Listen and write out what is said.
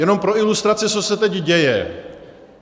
Jenom pro ilustraci, co se teď děje.